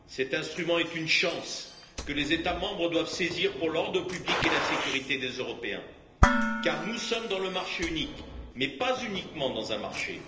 Cet instrument est une chance que les États membres doivent saisir pour l'ordre public et la sécurité des Européens, car nous sommes dans le marché unique, mais pas uniquement dans un marché.